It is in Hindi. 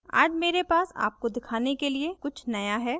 आज मेरे पास आपको दिखाने के लिए कुछ नया है